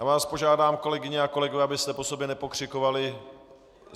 Já vás požádám, kolegyně a kolegové, abyste po sobě nepokřikovali.